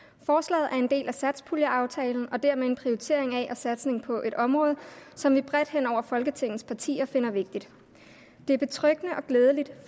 forslaget er en del af satspuljeaftalen og dermed en prioritering af og satsning på et område som vi bredt hen over folketingets partier finder vigtigt det er betryggende og glædeligt